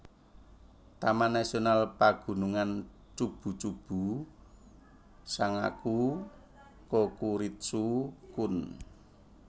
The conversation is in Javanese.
Taman Nasional Pagunungan Chubu Chubu Sangaku Kokuritsu Koen